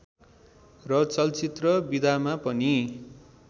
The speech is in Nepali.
र चलचित्र विधामा पनि